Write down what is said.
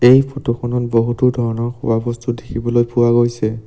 এই ফটো খনত বহুতো ধৰণৰ খোৱাবস্তু দেখিবলৈ পোৱা গৈছে।